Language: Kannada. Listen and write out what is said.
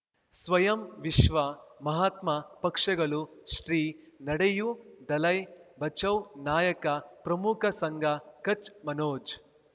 ಸ್ವಯಂ ವಿಶ್ವ ಮಹಾತ್ಮ ಪಕ್ಷಗಳು ಶ್ರೀ ನಡೆಯೂ ದಲೈ ಬಚೌ ನಾಯಕ ಪ್ರಮುಖ ಸಂಘ ಕಚ್ ಮನೋಜ್